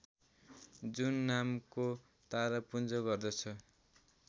जुन नामको तारापुञ्ज पर्दछ